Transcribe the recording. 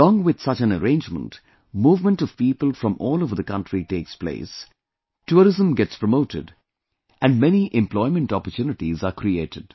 Alongwith such an arrangement, movement of people from all over the country takes place, tourism gets promoted and many employment opportunities are created